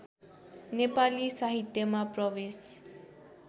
नेपाली साहित्यमा प्रवेश